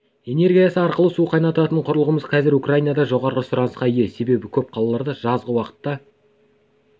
энергиясы арқылы су қайнататын құрылғымыз қазір украинада жоғары сұранысқа ие себебі көп қалаларда жазғы уақытта